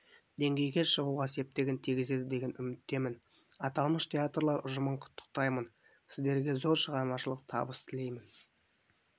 деңгейге шығуға септігін тигізеді деген үміттемін аталмыш театрлар ұжымын құттықтаймын сіздерге зор шығармашылық табыс тілеймін